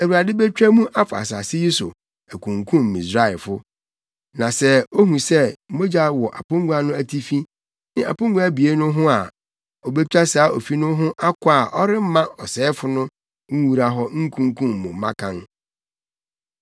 Awurade betwa mu afa asase yi so akunkum Misraimfo. Na sɛ ohu sɛ mogya wɔ apongua no atifi ne apongua abien no ho a, obetwa saa ofi no ho akɔ a ɔremma ɔsɛefo no nwura hɔ nkunkum mo mmakan.